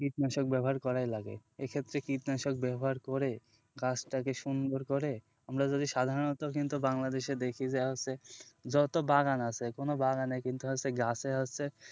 কীটনাশক ব্যবহার করাই লাগে, এক্ষেত্রে কীটনাশক ব্যবহার করে গাছটাকে সুন্দর করে আমরা যদি সাধারনত কিন্তু বাংলাদেশে দেখি যা হচ্ছে যত বাগান আছে কোন বাগানেই কিন্তু হচ্ছে গাছে হচ্ছে,